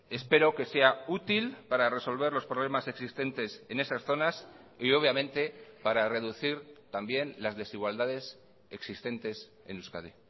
espero que sea útil para resolver los problemas existentes en esas zonas y obviamente para reducir también las desigualdades existentes en euskadi